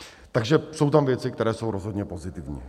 Takže jsou tam věci, které jsou rozhodně pozitivní.